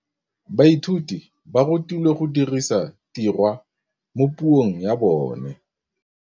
Baithuti ba rutilwe go dirisa tirwa mo puong ya bone.